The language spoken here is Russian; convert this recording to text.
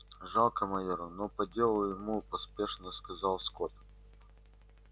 жалко майора но по делу ему поспешно сказал скотт